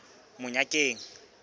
monyakeng